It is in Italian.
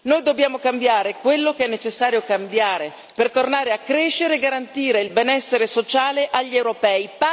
Noi dobbiamo cambiare quello che è necessario cambiare, per tornare a crescere e garantire il benessere sociale agli europei.